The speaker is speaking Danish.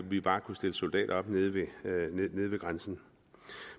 vi bare kunne stille soldater op nede ved grænsen